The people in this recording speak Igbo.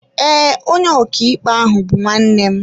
Ee, onye ọkàikpe ahụ bú nwannem